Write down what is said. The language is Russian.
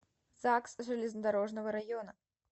загс железнодорожного района